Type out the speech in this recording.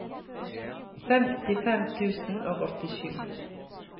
femtifem tusen og åttisju